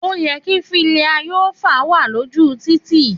Òyẹ ki filàyíòfà wà lójú títì.